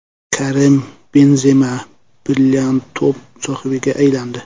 Karim Benzema brilliant to‘p sohibiga aylandi.